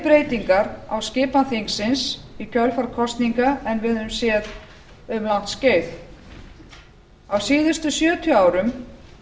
breytingar á skipan þingsins í kjölfar kosninga en við höfum séð um langt skeið á síðustu sjötíu árum